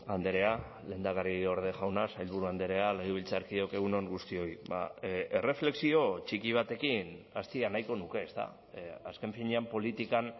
andrea lehendakariorde jauna sailburu andrea legebiltzarkideok egun on guztioi erreflexio txiki batekin hastea nahiko nuke ezta azken finean politikan